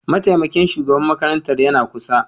Mataimakin shugaban makarantar yana kusa